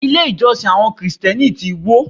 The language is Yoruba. Ilé ìjọsìn àwọn Kristẹni ti wó.